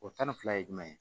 O tan ni fila ye jumɛn ye